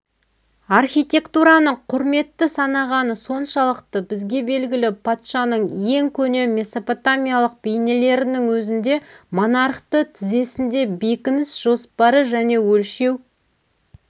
архитектураны құрметті санағаны соншалықты бізге белгілі патшаның ең көне месопотамиялық бейнелерінің өзінде монархты тізесінде бекініс жоспары және өлшеу